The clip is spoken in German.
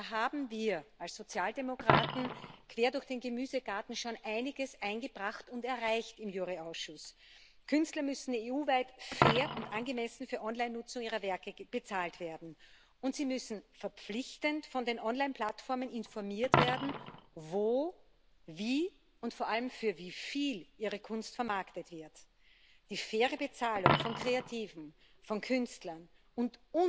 Und da haben wir als Sozialdemokraten quer durch den Gemüsegarten schon einiges im Rechtsausschuss eingebracht und erreicht. Künstler müssen EU weit fair und angemessen für Online Nutzung ihrer Werke bezahlt werden, und sie müssen verpflichtend von den Online Plattformen informiert werden, wo, wie und vor allem für wie viel ihre Kunst vermarktet wird. Die faire Bezahlung von Kreativen, von Künstlern und